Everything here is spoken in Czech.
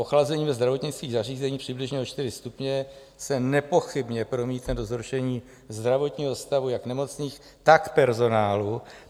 Ochlazení ve zdravotnických zařízeních přibližně o čtyři stupně se nepochybně promítne do zhoršení zdravotního stavu jak nemocných, tak personálu.